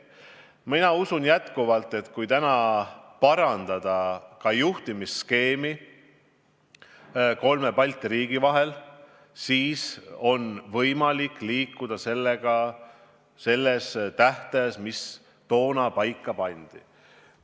Mina usun endiselt, et kui täna parandada kolme Balti riigi vahelist juhtimisskeemi, siis on võimalik liikuda selle tähtaja piires, mis toona paika pandi.